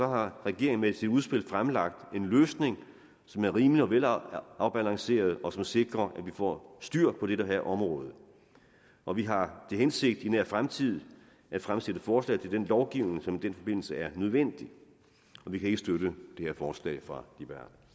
har regeringen med sit udspil fremlagt en løsning som er rimelig og velafbalanceret og som sikrer at vi får styr på det her område og vi har til hensigt i nær fremtid at fremsætte forslag til den lovgivning som i den forbindelse er nødvendig og vi kan ikke støtte det her forslag fra